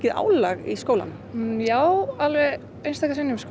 álag í skólanum já alveg einstaka sinnum